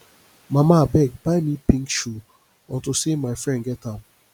mama abeg buy me pink shoe unto say my friend get am